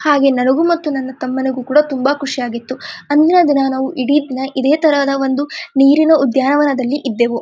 ಹಾಗೆ ನನಗು ಮತ್ತು ನನ್ನ ತಮ್ಮನಿಗು ಕೂಡ ತುಂಬಾ ಖುಷಿ ಆಗಿತ್ತು ಅಂದಿನದಿನಾ ನಾವು ಇಡೀದಿನ ಇದೆತರದ ಒಂದು ನೀರಿನ ಉದ್ಯಾನವನದಲ್ಲಿ ಇದ್ದೆವು.